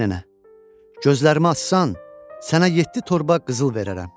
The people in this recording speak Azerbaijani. Ay nənə, gözlərimi açsan, sənə yeddi torba qızıl verərəm.